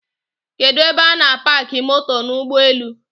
Kedu ebe a na-apaki moto n'ụgbọelu?